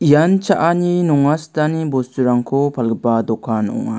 ian cha·ani nonga sitani bosturangko palgipa dokan ong·a.